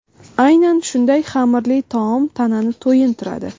Aynan shunday xamirli taom tanani to‘yintiradi.